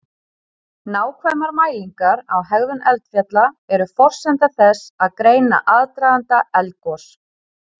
Nákvæmar mælingar á hegðun eldfjalla eru forsenda þess að greina aðdraganda eldgos.